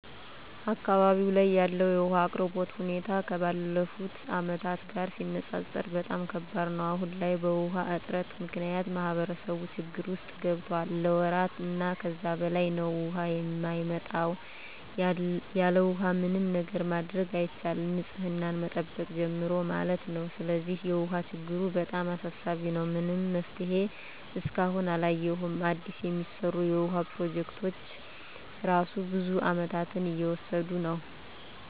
አካባቢው ላይ ያለው የውሃ አቅርቦት ሁኔታ ከባለፉት አመታት ጋር ሲነፃፀር በጣም ከባድ ነው። አሁን ላይ በውሃ እጥረት ምክንያት ማህበረሰቡ ችግር ውስጥ ገብቷል ለወራት እና ከዛ በላይ ነው ውሃ የማይመጣው። ያለውሃ ምንም ነገር ማድረግ አይቻልም ንፅህናን ከመጠበቅ ጀምሮ ማለት ነው። ስለዚህ የውሃ ችግሩ በጣም አሳሳቢ ነው። ምንም መፍትሄ እስካሁን አላየሁም አዲስ የሚሰሩ የውሃ ፕሮጀክቶች እራሱ ብዙ አመታትን እየወሰዱ ነው።